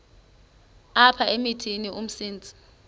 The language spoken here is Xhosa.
apha emithini umsintsi